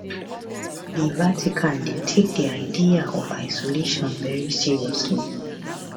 di vatican dey take di idea of isolation very seriously